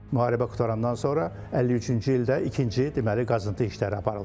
Müharibə qurtarandan sonra 53-cü ildə ikinci deməli qazıntı işləri aparılıb.